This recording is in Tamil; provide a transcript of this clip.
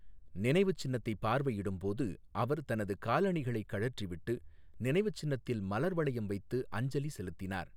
நினைவுச் சின்னத்தை பார்வையிடும் போது அவர் தனது காலணிகளை கழற்றிவிட்டு, நினைவுச் சின்னத்தில் மலர் வளையம் வைத்து அஞ்சலி செலுத்தினார்.